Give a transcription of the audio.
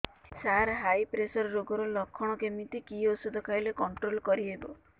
ସାର high pressure ରୋଗର ଲଖଣ କେମିତି କି ଓଷଧ ଖାଇଲେ କଂଟ୍ରୋଲ କରିହେବ